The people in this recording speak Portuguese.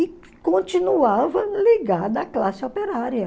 E continuava ligada à classe operária.